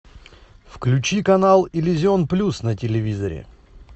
включи канал иллюзион плюс на телевизоре